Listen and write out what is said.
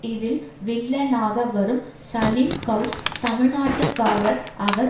இதில் வில்லனாக வரும் சலீம்கௌஸ் தமிழ்நாட்டுக்காரர் அவர்